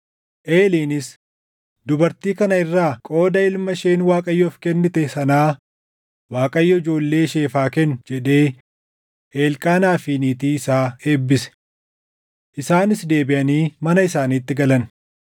Eeliinis, “Dubartii kana irraa qooda ilma isheen Waaqayyoof kennite sanaa Waaqayyo ijoollee isheef haa kennuu” jedhee Elqaanaa fi niitii isaa eebbise. Isaanis deebiʼanii mana isaaniitti galan.